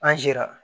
An sera